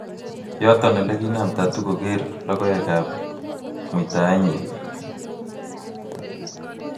yaton olegiinam Tatu koger logoek ap muitaenyin